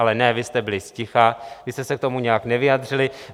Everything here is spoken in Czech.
Ale ne, vy jste byli zticha, vy jste se k tomu nijak nevyjádřili.